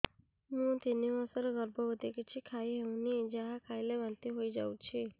ମୁଁ ତିନି ମାସର ଗର୍ଭବତୀ କିଛି ଖାଇ ହେଉନି ଯାହା ଖାଇଲେ ବାନ୍ତି ହୋଇଯାଉଛି